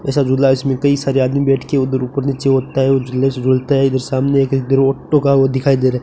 ऐसा झूला इसमें कई सारे आदमी बैठके उधर ऊपर नीचे होता है झूले से झूलता है जो सामने वो दिखाई दे रहा --